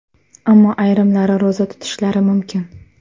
Ammo ayrimlari ro‘za tutishlari mumkin.